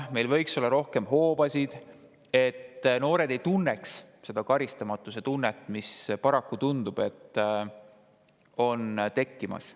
Meil võiks olla rohkem hoobasid, et noored ei tunneks karistamatuse tunnet, sest paraku tundub, et see on tekkimas.